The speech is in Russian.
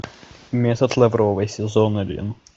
метод лавровой сезон один